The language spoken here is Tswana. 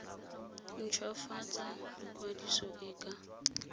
nt hwafatsa ikwadiso e ka